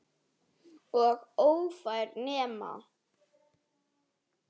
Og ófær nema.